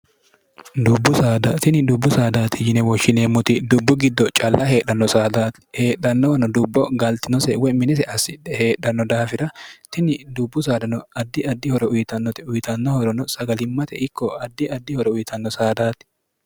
tini dubbu saadaati yine woshshineemmuti dubbu giddo calla heedhanno saadaati heedhannowano dubbo galtino seewwe minise assidhe heedhanno daafira tini dubbu saadano addi addi horo uyitannote uyitannohorono sagalimmate ikko addi addi horo uyitanno saadaati